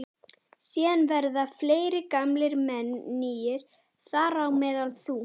Síðan verða fleiri gamlir menn nýir, þar á meðal þú.